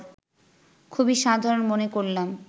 খুবই সাধারণ মনে করলাম